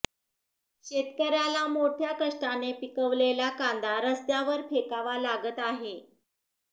शेतकऱ्याला मोठ्या कष्टाने पिकवलेला कांदा रस्त्यांवर फेकावा लागत आहे